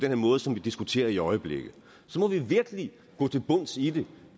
her måde som vi diskuterer på i øjeblikket så må vi virkelig gå til bunds i det